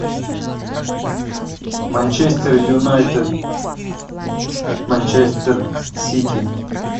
манчестер юнайтед манчестер сити